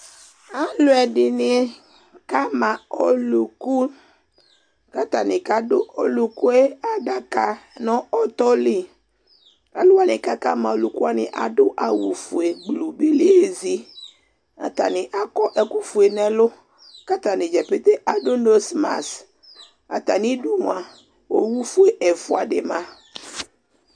Alu ɛdini kama ɔlu ku k'atani k'adu ɔlukue adaka nu ɔtɔ lɩ Aluani kaka ma ɔluke adu awu fue lu beli ezi, atani akɔ ekufue n'ɛlu k'atanidza pete adu nosmas Atamidu mua owu fue ɛfua di ma